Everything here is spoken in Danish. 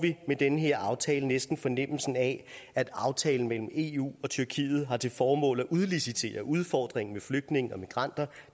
med den her aftale næsten fornemmelsen af at aftalen mellem eu og tyrkiet har til formål at udlicitere udfordringen med flygtninge og migranter